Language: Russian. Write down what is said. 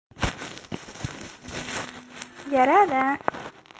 я рада